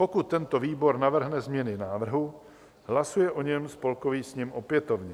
Pokud tento výbor navrhne změny návrhu, hlasuje o něm Spolkový sněm opětovně.